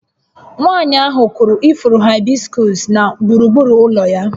Nwanyị ahụ kụrụ ifuru haịbiskus na gburugburu ụlọ ya